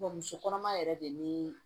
muso kɔnɔma yɛrɛ de ni